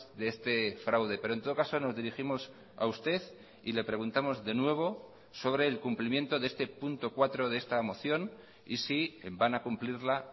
de este fraude pero en todo caso nos dirigimos a usted y le preguntamos de nuevo sobre el cumplimiento de este punto cuatro de esta moción y sí van a cumplirla